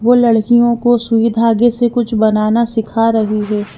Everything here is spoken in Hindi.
वो लड़कियों को सुई धागे से कुछ बनाना सिखा रही है।